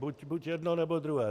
Buď jedno, nebo druhé.